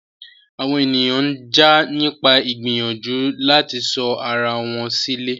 Àwọn ènìyàn ń jà nípa ìgbìyànjú láti sọ ara wọn sílẹ̀.